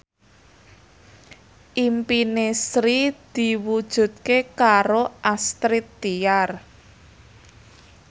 impine Sri diwujudke karo Astrid Tiar